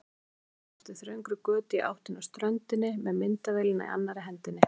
Hljóp niður eftir þröngri götu í áttina að ströndinni með myndavélina í annarri hendinni.